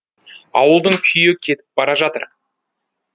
ауылдың күйі кетіп бара жатыр